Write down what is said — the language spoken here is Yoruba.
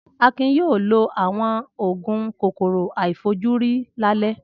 Akin yóò lo àwọn òògùn kòkòrò àìfojúrí lálẹ́.